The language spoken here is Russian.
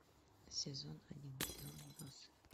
сезон один кино отбросы